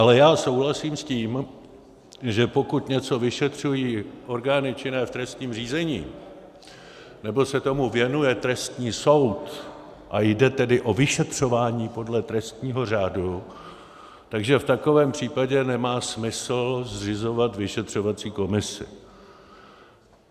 Ale já souhlasím s tím, že pokud něco vyšetřují orgány činné v trestním řízení nebo se tomu věnuje trestní soud, a jde tedy o vyšetřování podle trestního řádu, že v takovém případě nemá smysl zřizovat vyšetřovací komisi.